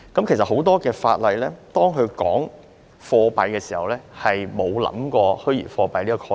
其實，很多法例提到貨幣時，並沒有考慮到虛擬貨幣這個概念。